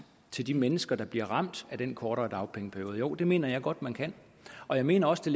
til de mennesker der bliver ramt af den kortere dagpengeperiode det mener jeg godt at man kan og jeg mener også